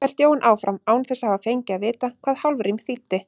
hélt Jón áfram, án þess að hafa fengið að vita hvað hálfrím þýddi.